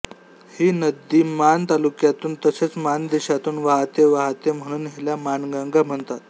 ही नदी माण तालुक्यातून तसेच मानदेशातून वाहते वाहते म्हणून हिला माणगंगा म्हणतात